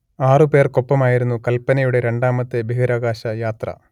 ആറു പേർക്കൊപ്പമായിരുന്നു കൽപനയുടെ രണ്ടാമത്തെ ബഹിരാകാശ യാത്ര